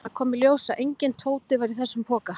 Það kom í ljós að enginn Tóti var í þessum poka.